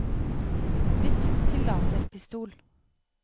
bytt til laserpistol